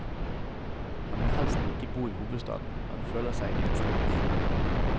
Han vil helst ikke bo i hovedstaden, han føler seg innestengt.